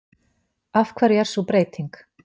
Af hverju er sú breyting?